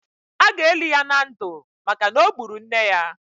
A ga-eli ya na ndụ maka na o gburu nne ya